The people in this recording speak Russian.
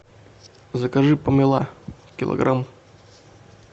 закажи помело килограмм